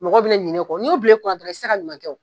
Mɔgɔ bina ɲina o kɔ, n'o bila i kunn dɔrɔn i ti se ka ɲuman kɛ